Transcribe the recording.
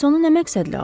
Bəs onu nə məqsədlə alıb?